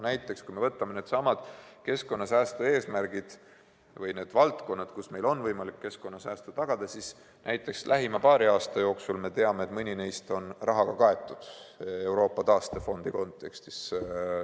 Kui me võtame needsamad keskkonnasäästu eesmärgid või need valdkonnad, kus meil on võimalik keskkonnasäästu tagada, siis näiteks lähima paari aasta jooksul me teame, et mõni neist on rahaga kaetud Euroopa taastefondi kontekstis.